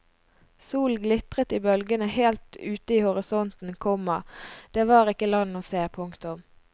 Solen glitret i bølgene helt ute i horisonten, komma det var ikke land å se. punktum